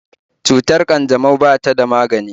Cutar ƙanjamau ba ta da magani